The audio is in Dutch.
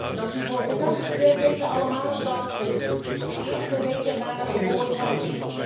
Wij weten allemaal dat de eerste weken na de geboorte van een kind cruciaal zijn.